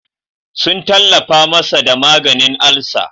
Sun tallafa masa da maganin alsa.